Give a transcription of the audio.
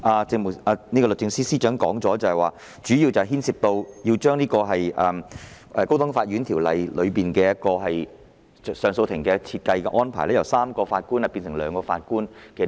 正如律政司司長剛才所說，這項修正案主要是將《高等法院條例》中上訴法庭的組成由3名法官改為兩名。